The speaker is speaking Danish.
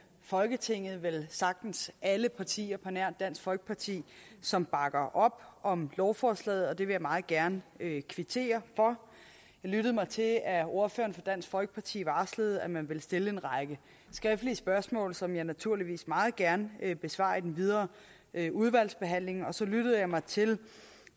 folketinget velsagtens alle partier på nær dansk folkeparti som bakker op om lovforslaget og det vil jeg meget gerne kvittere for jeg lyttede mig til at ordføreren for dansk folkeparti varslede at man ville stille en række skriftlige spørgsmål som jeg naturligvis meget gerne besvarer i den videre udvalgsbehandling og så lyttede jeg mig til